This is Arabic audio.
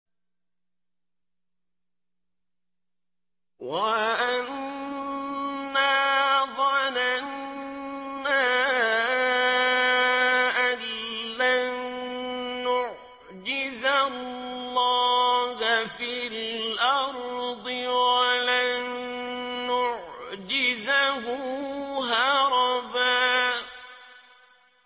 وَأَنَّا ظَنَنَّا أَن لَّن نُّعْجِزَ اللَّهَ فِي الْأَرْضِ وَلَن نُّعْجِزَهُ هَرَبًا